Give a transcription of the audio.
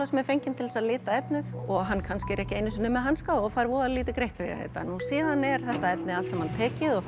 sem er fenginn til þess að lita efnið og hann er kannski ekki einu sinni með hanska og fær voða lítið greitt fyrir þetta síðan er þetta efni allt saman tekið og